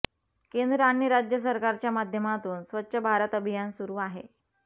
केंद्र आणि राज्य सरकारच्या माध्यमातून स्वच्छ भारत अभियान सुरू आहे